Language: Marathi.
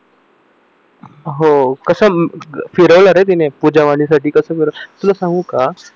हो कसं फिरवल रे तिने पूजा वाणी साठी कसं फिरवलं तुला सांगू का